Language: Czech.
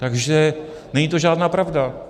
Takže není to žádná pravda.